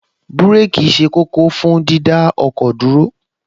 Búréèkì ṣe kókó fún dídá ọkọ̀ dúró